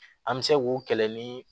An bɛ se k'u kɛlɛ ni